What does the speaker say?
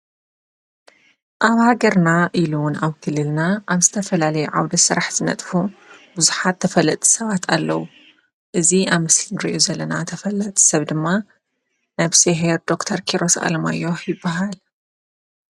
ኣብ ሃገርና ኢሉውን ኣው ክልልና ኣም ስተፈላል ዓውደ ሠራሕ ዝነጥፉ ብዙኃት ተፈለጥ ሰዋት ኣለዉ እዝ ኣምስንድርዮ ዘለና ተፈለጥ ሰብ ድማ ነብስሄር ዶክተር ኪሮስ ኣለማዮህ ይበሃል።